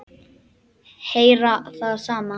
Heyra það sama.